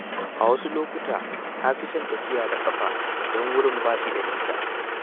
A wasu lokuta, na fi son tafiya da ƙafa idan wurin ba shi da nisa.